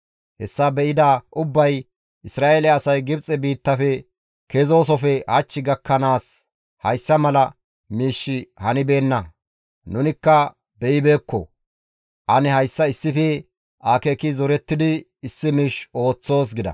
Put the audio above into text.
Hessa be7ida ubbay, «Isra7eele asay Gibxe biittafe kezoosofe hach gakkanaas hayssa mala miishshi hanibeenna; nunikka beyibeekko; ane hayssa issife akeeki zorettidi issi miish ooththoos» gida.